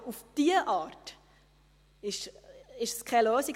Aber auf diese Art ist es keine Lösung.